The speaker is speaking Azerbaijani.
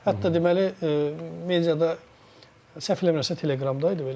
Hətta deməli, mediada səhv eləmirəmsə, Telegramda idi.